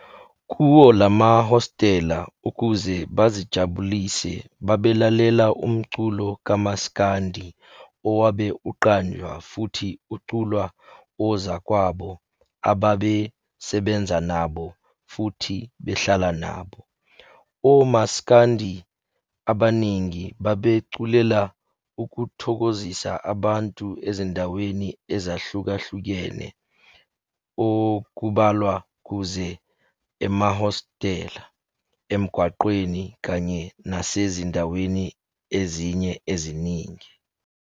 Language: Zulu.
Kuwo lamahostela ukuze bazijabulise babelalela umculo kamsakandi owabe uqanjwa futhi uculwa ozakwabo ababesebenza nabo futhi behlala nabo. OMasikandi abaningi babeculela ukuthokozisa abantu ezindaweni ezahlukahlukene okubalwa kuzo emahostela, emgwaqeni kanye nasezindaweni ezinye eziningi.